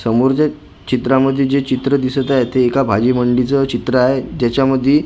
समोरच्या चित्रामध्ये जे चित्र दिसत आहे ते एका भाजी मंडीचं चित्र आहे त्याच्या मधी खूप सारे फळ--